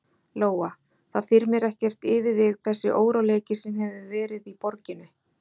Lóa: Það þyrmir ekkert yfir þig þessi óróleiki sem hefur verið í borginni?